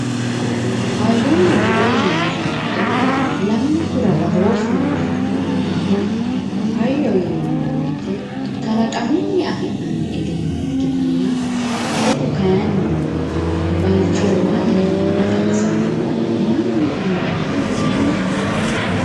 hayyonna bude yinanni woyiite lamunkura badooshshu noohu heeranna hayyo yinanni woyiite kalaqamunni afi'nanni egenno ikkitanna budu kayiinni balchoomanna mayiimma xawisannohura mannu uyiinorichooti